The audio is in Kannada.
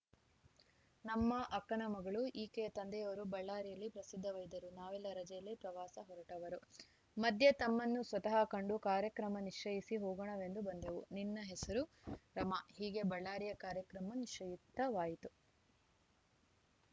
ನಮ್ಮ ಅಕ್ಕನ ಮಗಳು ಈಕೆಯ ತಂದೆಯವರು ಬಳ್ಳಾರಿಯಲ್ಲಿ ಪ್ರಸಿದ್ಧ ವೈದ್ಯರು ನಾವೆಲ್ಲ ರಜೆಯಲ್ಲಿ ಪ್ರವಾಸ ಹೊರಟವರು ಮಧ್ಯೆ ತಮ್ಮನ್ನು ಸ್ವತಃ ಕಂಡು ಕಾರ್ಯಕ್ರಮ ನಿಶ್ಚಯಿಸಿ ಹೋಗೋಣವೆಂದು ಬಂದೆವು ನಿನ್ನ ಹೆಸರು ರಮಾ ಹೀಗೆ ಬಳ್ಳಾರಿಯ ಕಾರ್ಯಕ್ರಮ ನಿಶ್ಚಿತವಾಯಿತು